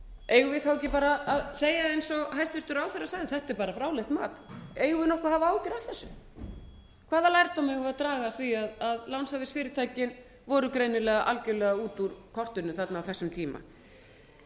eigum við ekki bara að segja eins og hæstvirtur ráðherra sagði þetta er bara fráleitt mat eigum við nokkuð að hafa áhyggjur af þessu hvaða lærdóm eigum við að draga af því að lánshæfisfyrirtækin voru greinilega algjörlega út úr kortinu á þessum tíma